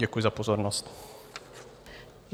Děkuji za pozornost.